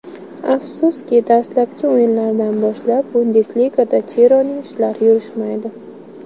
Afsuski, dastlabki o‘yinlardan boshlab Bundesligada Chironing ishlari yurishmaydi.